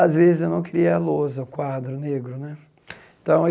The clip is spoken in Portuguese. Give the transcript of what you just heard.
Às vezes, eu não queria a lousa, quadro negro né então.